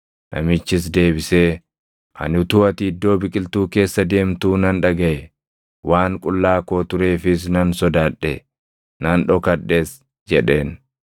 Namichis deebisee, “Ani utuu ati iddoo biqiltuu keessa deemtuu nan dhagaʼe; waan qullaa koo tureefis nan sodaadhe; nan dhokadhes” jedheen.